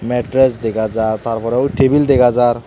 matress dega jaar taar porey ui tebil dega jaar.